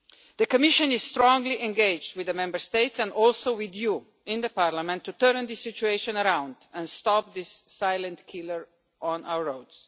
The Commission is strongly engaged with the Member States and also with you, in the Parliament, to turn this situation around and stop this silent killer on our roads.